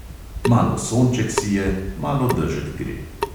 Malo sonček sije, malo dežek gre.